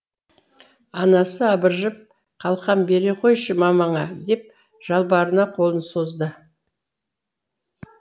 анасы абыржып қалқам бере қойшы мамаңа деп жалбарына қолын созды